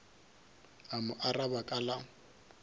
a mo araba ka la